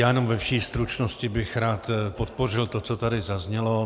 Já jenom ve vší stručnosti bych rád podpořil to, co tady zaznělo.